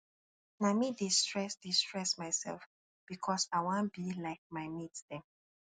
na me dey stress dey stress mysef because i wan be like my mate dem